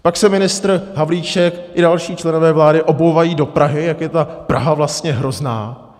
Pak se ministr Havlíček i další členové vlády obouvají do Prahy, jak je ta Praha vlastně hrozná.